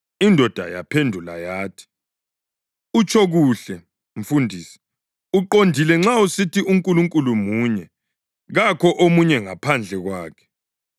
Indoda yaphendula yathi, “Utsho kuhle, mfundisi. Uqondile nxa usithi uNkulunkulu munye, kakho omunye ngaphandle kwakhe.